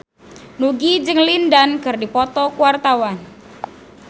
Nugie jeung Lin Dan keur dipoto ku wartawan